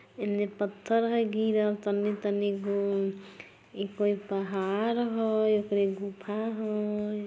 इन्ने पत्थर है गिरल तनी तनी गो इ कोय पहाड़ होय इ कोय गुफा होय